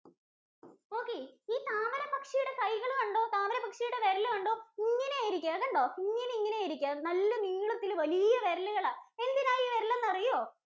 Okay ഈ താമര പക്ഷിയുടെ കൈകള് കണ്ടോ, താമര പക്ഷിയുടെ വെരല് കണ്ടോ, ഇങ്ങനെയാ ഇരിക്യാ. കണ്ടോ ഇങ്ങനെ ഇങ്ങനെയായിരിക്യാ, നല്ല നീളത്തില്‍ വലിയ വിരലുകളാ, എന്തിനാ ഈ വെരലെന്നറിയോ?